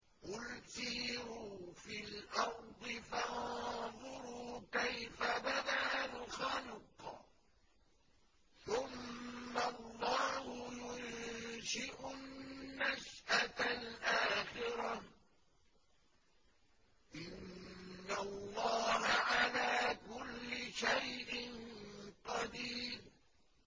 قُلْ سِيرُوا فِي الْأَرْضِ فَانظُرُوا كَيْفَ بَدَأَ الْخَلْقَ ۚ ثُمَّ اللَّهُ يُنشِئُ النَّشْأَةَ الْآخِرَةَ ۚ إِنَّ اللَّهَ عَلَىٰ كُلِّ شَيْءٍ قَدِيرٌ